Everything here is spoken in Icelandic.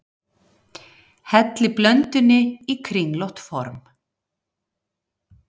Hellið blöndunni í kringlótt form.